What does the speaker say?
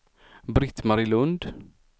Britt-Marie Lundh